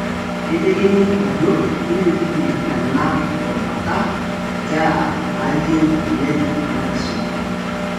Keitekini ajo kemitiki ena rubata nkera naayeu oleng' ena kisuma.